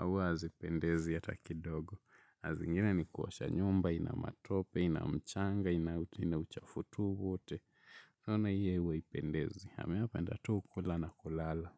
Huwa hazipendezi hata kidogo. Saa zingine ni kuosha nyumba, inamatope, inamchanga, inauchafu tu wote. Unaona hio huwa haipendezi. Mi hupenda tu kula na kulala.